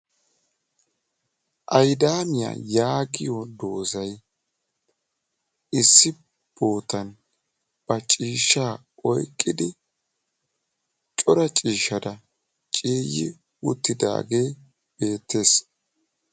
Ayidaamiya yaagiyo doozay issi bootan ba ciishshaa oyiqidi cora ciishishata ciiyyi uttidaagee beettes.